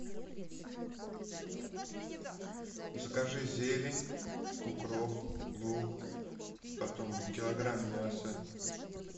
закажи зелень укроп лук потом килограмм мяса